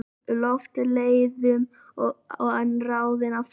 Loftleiðum en ráðinn aftur.